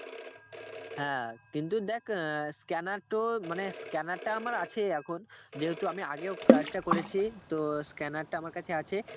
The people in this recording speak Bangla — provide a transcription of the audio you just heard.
হ্যাঁ কিন্তু দেখ অ্যাঁ scanner তোর মানে scanner টা আমার আছেই এখন, যেহুতু আমি আগেও কাজটা করেছি তো scanner টা আমার কাছে আছে